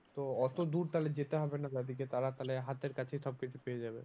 তো অত দূর তাহলে যেতে হবে না তাদেরকে তারা তাহলে হাতের কাছে সব কিছু পেয়ে যাবে।